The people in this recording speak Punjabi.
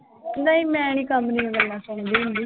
ਨਹੀਂ ਮੈਂ ਨੀ ਕੰਮ ਦੀਆਂ ਗੱਲਾਂ ਸੁਣਦੀ ਹੁੰਦੀ।